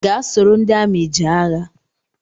Gaa soro ndị amị jee agha!